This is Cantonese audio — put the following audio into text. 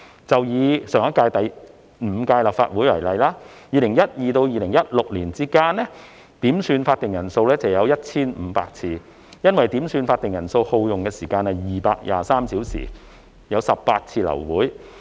就以上屆立法會為例，在 2012-2016 年間，點算法定人數有 1,500 次，因點算法定人數而耗用的時間是223小時，造成18次流會。